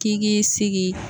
K'i k'i sigi